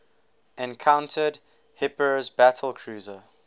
encountered hipper's battlecruiser